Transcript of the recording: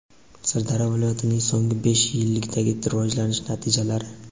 Sirdaryo viloyatining so‘nggi besh yillikdagi rivojlanish natijalari.